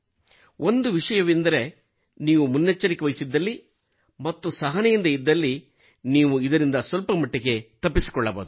ಒಂದು ವಿಷಯವೆಂದರೆ ನೀವು ಮುನ್ನೆಚ್ಚರಿಕೆ ವಹಿಸಿದಲ್ಲಿ ಮತ್ತು ಸಹನೆಯಿಂದ ಇದ್ದಲ್ಲಿ ನೀವು ಇದರಿಂದ ಸ್ವಲ್ಪಮಟ್ಟಿಗೆ ತಪ್ಪಿಸಿಕೊಳ್ಳಬಹುದು